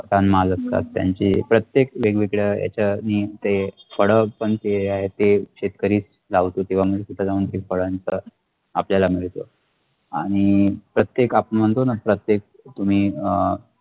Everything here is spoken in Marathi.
तनमाल असतात त्यांचे प्रत्येक वेगवेगळे ह्याचनी ते फळपण जे आहेत ते शेतकरीच लावतो इथं जाऊन तिथे जाऊन ते फळांचं आपल्याला मिळतो आणि प्रत्येक आपण म्हणतो ना प्रत्येक तुम्ही अ